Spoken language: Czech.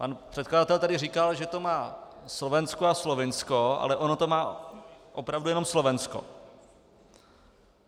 Pan předkladatel tady říkal, že to má Slovensko a Slovinsko, ale ono to má opravdu jenom Slovensko.